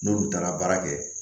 N'olu taara baara kɛ